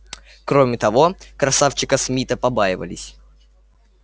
кроме того красавчика смита побаивались